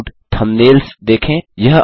layout thumbnails देखें